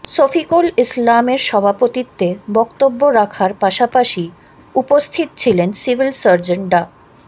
সফিকুল ইসলামের সভাপতিত্বে বক্তব্য রাখার পাশাপাশি উপস্থিত ছিলেন সিভিল সার্জন ডা